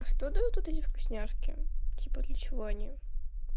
а что дают вот эти вкусняшки типа для чего они